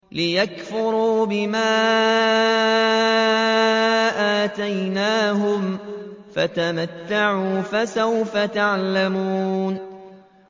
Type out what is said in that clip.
لِيَكْفُرُوا بِمَا آتَيْنَاهُمْ ۚ فَتَمَتَّعُوا ۖ فَسَوْفَ تَعْلَمُونَ